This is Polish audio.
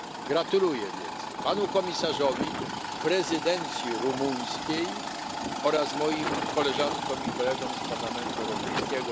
Gratuluję więc panu komisarzowi, prezydencji rumuńskiej oraz moim koleżankom i kolegom z Parlamentu Europejskiego.